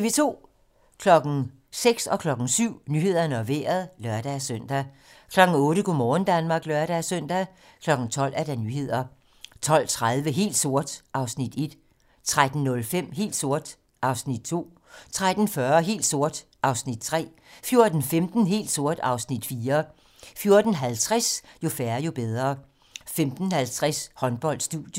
06:00: Nyhederne og Vejret (lør-søn) 07:00: Nyhederne og Vejret (lør-søn) 08:00: Go' morgen Danmark (lør-søn) 12:00: Nyhederne 12:30: Helt sort (Afs. 1) 13:05: Helt sort (Afs. 2) 13:40: Helt sort (Afs. 3) 14:15: Helt sort (Afs. 4) 14:50: Jo færre, jo bedre 15:50: Håndbold: Studiet